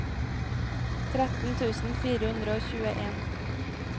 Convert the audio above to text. tretten tusen fire hundre og tjueen